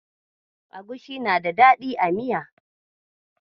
Agushi na da dadi a miya.